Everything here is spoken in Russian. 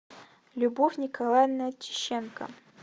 любовь николаевна чищенко